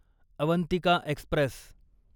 Avantika Express